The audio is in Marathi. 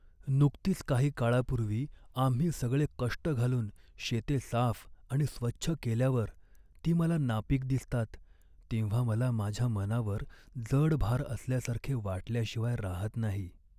नुकतीच काही काळापूर्वी आम्ही सगळे कष्ट घालून शेते साफ आणि स्वच्छ केल्यावर ती मला नापीक दिसतात तेव्हा मला माझ्या मनावर जड भार असल्यासारखे वाटल्याशिवाय रहात नाही.